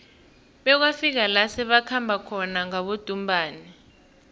bekwafika la sebakhamba khona ngabodumbana